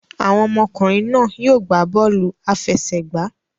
Awọn ọmọkunrin náà yóò gbà bọọlu afẹsẹgba